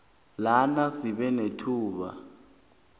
bona sibe nethuba